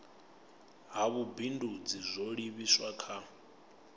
ha vhubindudzi zwo livhiswa kha